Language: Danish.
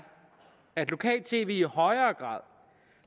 at lokal tv i højere grad